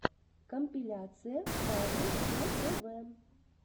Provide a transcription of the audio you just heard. компиляция павел про тв